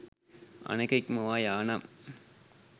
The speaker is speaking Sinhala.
අනෙක ඉක්මවා යා නම්